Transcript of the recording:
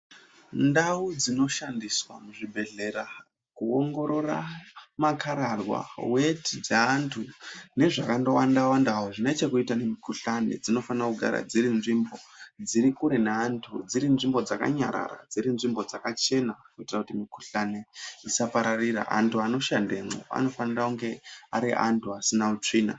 Ndau dzinoshandiswa muzvibhehlera kuongorora makararwa. weti dzeantu nezvakandowanda-wandawo zvinechekuita nemikuhlani dzinofanira kugara dzirinzvimbo dzirikure neantu, dzirinzvimbo dzakanyarara, dzirinzvimbo dzakachena kuitira kuti mikuhlani isapararira. Antu anoshandemwo anofanira kunge ari antu asina utsvina.